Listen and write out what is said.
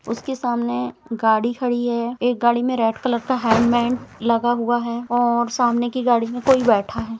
उसके सामने गाड़ी खड़ी है एक गाड़ी में रेड कलर हेल्मट लगा हुआ है और सामने की गाड़ी में कोई बैठा है।